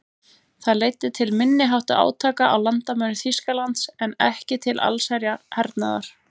Það leiddi til minniháttar átaka á landamærum Þýskalands en ekki til allsherjar hernaðar.